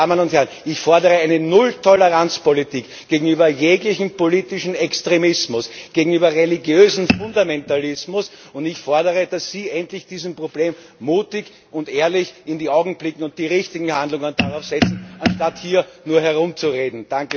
Meine Damen und Herren, ich fordere eine Null Toleranz Politik gegenüber jeglichem politischen Extremismus und gegenüber religiösem Fundamentalismus, und ich fordere, dass Sie endlich diesem Problem mutig und ehrlich in die Augen blicken und die richtigen Handlungen setzen, anstatt hier nur herumzureden.